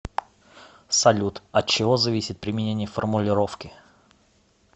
салют от чего зависит применение формулировки